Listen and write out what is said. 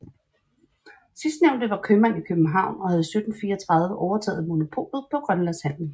Sidstnævnte var købmand i København og havde i 1734 overtaget monopolet på grønlandshandelen